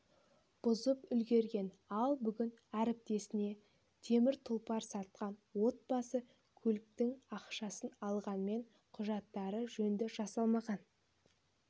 бұзып үлгерген ал бүгін әріптесіне темір тұлпар сатқан отбасы көліктің ақшасын алғанымен құжаттары жөнді жасалмағанын